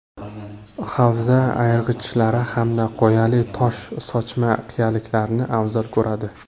Havza ayirg‘ichlari hamda qoyali tosh-sochma qiyaliklarni afzal ko‘radi.